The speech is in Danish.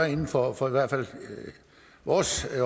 inden for vores